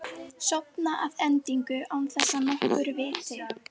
Sofna að endingu án þess að nokkur viti.